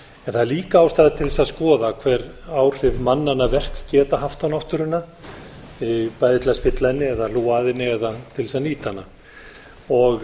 það er líka ástæða til þess að skoða hver áhrif mannanna verk geta haft á náttúruna bæði til að spilla henni eða hef að henni eða til þess að nýta hana